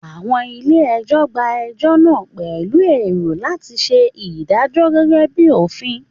Àwọn ilé ẹjọ́ gba ẹjọ́ náà pẹ̀lú èrò láti ṣe ìdájọ́ gẹ́gẹ́ bíi òfin